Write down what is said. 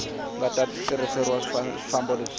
nga ta tirhiseriwa swifambo leswi